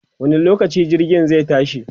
wani lokaci jirgin zai tashi?